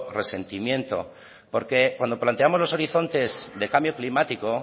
resentimiento porque cuando planteamos los horizontes de cambio climático